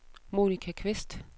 Monica Kvist